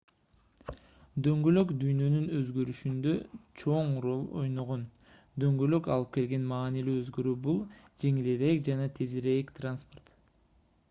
дөңгөлөк дүйнөнүн өзгөрүшүндө чоң роль ойногон дөңгөлөк алып келген маанилүү өзгөрүү бул жеңилирээк жана тезирээк транспорт